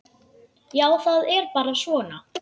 Já, það er bara svona.